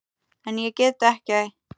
En ég get ekki.